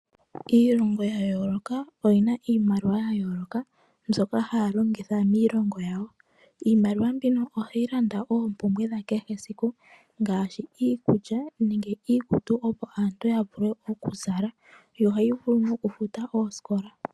Iilongo yayooloka oyina iimaliwa yayooloka mbyoka haya longitha miilongo yawo. iimaliwa mbino ohayi landa oompumbwe dhakehesiku ngaashi, iikulya nenge iikutu opo aantu yavule okuzala yo ohayi vulu nokufuta oosikola.